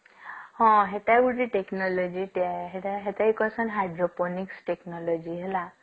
ହଁ ସେଟା ହଉଛି ଗୋଟେ technology ସେଟା ସେଟକି କହିଷଣ hydro phonic technology ହେଲା